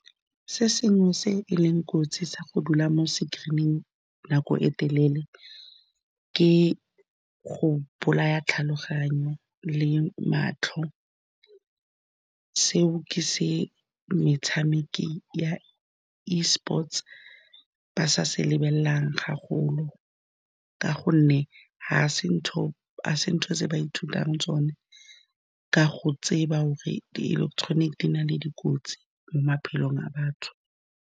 Se sengwe se e leng kotsi sa go dula mo screen-ing nako e telele, ke go bolaya tlhaloganyo le matlho. Seo ke se metshameki ya eSports-e ba sa se lebeleleng thata, ka gonne ga se ntho tse ba ithutang tsone ka go tseba gore diiletetoniki di na le dikotsi mo maphelong a batho.